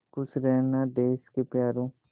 खुश रहना देश के प्यारों